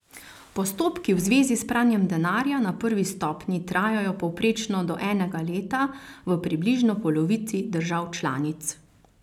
Postopki v zvezi s pranjem denarja na prvi stopnji trajajo povprečno do enega leta v približno polovici držav članic.